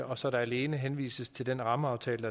og så der alene henvises til den rammeaftale